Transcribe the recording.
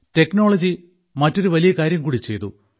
technology മറ്റൊരു വലിയ കാര്യം കൂടി ചെയ്തു